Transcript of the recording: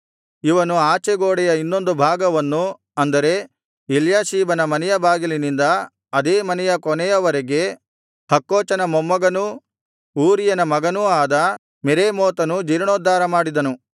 ಇವನು ಆಚೆ ಗೋಡೆಯ ಇನ್ನೊಂದು ಭಾಗವನ್ನು ಅಂದರೆ ಎಲ್ಯಾಷೀಬನ ಮನೆಯ ಬಾಗಿಲಿನಿಂದ ಅದೇ ಮನೆಯ ಕೊನೆಯವರೆಗೆ ಹಕ್ಕೋಚನ ಮೊಮ್ಮಗನೂ ಊರೀಯನ ಮಗನೂ ಆದ ಮೆರೇಮೋತನು ಜೀರ್ಣೋದ್ಧಾರ ಮಾಡಿದನು